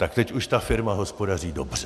Tak teď už ta firma hospodaří dobře!